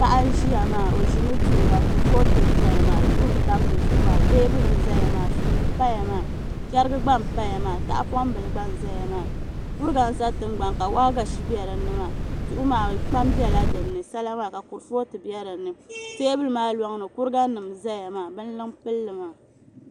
Paɣa n ʒiya maa o ʒimi duɣura kurifooti n ʒɛya maa duɣu n tam di zuɣu maa suu n doya maa teebuli n ʒɛya maa chɛrigi gba n paya maa tahapoŋ bili gba n ʒɛya maa kuriga n ʒɛ tingbani ka waagashi bɛ dinni maa duɣu maa kpam bɛla dinni sala maa ka kurifooti bɛ dinni teebuli maa loŋni kuriga nim n ʒɛya maa binluŋ n pilli maa